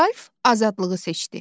Ralf azadlığı seçdi.